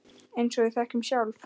Eins og við þekkjum sjálf.